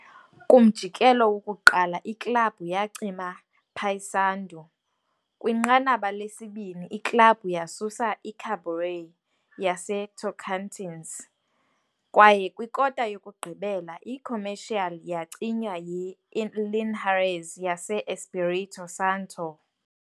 Kumjikelo wokuqala, iklabhu yacima Paysandu, kwinqanaba lesibini, iklabhu yasusa iKaburé yaseTocantins, kwaye kwikota yokugqibela, iComercial yacinywa yiLinhares yase-Espírito Santo.